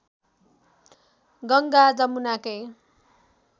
Ganga जमुनाकै